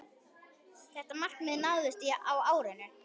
Þetta markmið náðist á árinu.